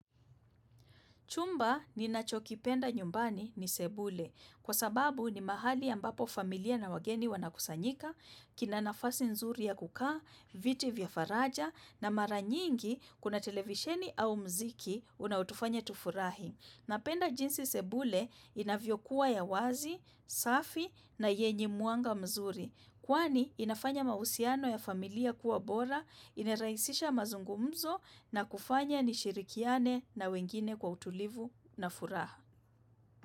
Chumba ni nachokipenda nyumbani ni sebule kwa sababu ni mahali ambapo familia na wageni wanakusanyika, kinanafasi nzuri ya kukaa, viti vya faraja na mara nyingi kuna televisheni au mziki unaotufanya tufurahi. Napenda jinsi sebule inavyo kuwa ya wazi, safi na yenye mwanga mzuri. Kwani inafanya mahusiano ya familia kuwa bora, inraisisha mazungumzo na kufanya nishirikiane na wengine kwa utulivu na furaha.